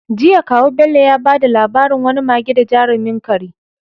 Jiya, kawu Bello ya bada labarin wani mage da jarumin kare.